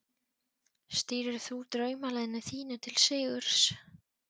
Stýrir þú draumaliðinu þínu til sigurs?